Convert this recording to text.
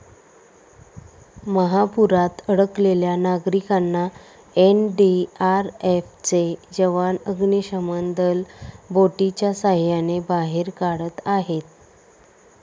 महापुरात अडकलेल्या नागरिकांना एनडीआरएफचे जवान, अग्निशमन दल बोटीच्या साहाय्याने बाहेर काढत आहेत.